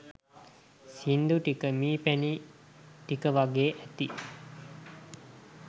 සින්දු ටික මී පැණි ටික වගේ ඇති